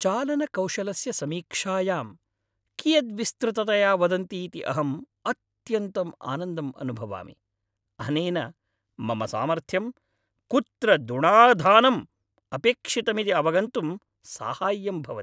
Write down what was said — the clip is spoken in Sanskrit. चालनकौशलस्य समीक्षायां कियद् विस्तृततया वदन्ति इति अहम् अत्यन्तं आनन्दम् अनुभवामि। अनेन मम सामर्थ्यं, कुत्र दुणाधानं अपेक्षितमिति अवगन्तुं साहाय्यं भवति।